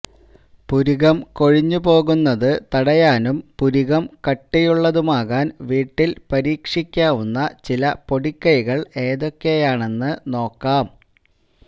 പുരികം കൊഴിഞ്ഞ് പോകുന്നത് തടയാനും പുരികം കട്ടിയുള്ളതുമാകാൻ വീട്ടിൽ പരീക്ഷിക്കാവുന്ന ചില പൊടിക്കെെകൾ ഏതൊക്കെയാണെന്ന് നോക്കാം